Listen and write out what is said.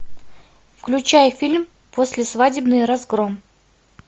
включай фильм послесвадебный разгром